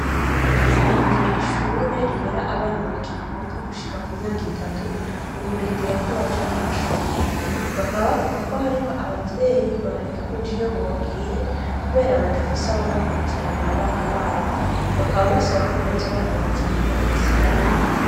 Hatangujwe ishure rirera abana bakivuka gushika ku myaka itatu, mu kurindira ko baja mu mashure. Bakaba bavuga ko hariho abavyeyi boreka kuja iyo bogiye bakaba badafise ababakurikiranira abana babo. Bakaba basaba ko boza barabazana babasigirane.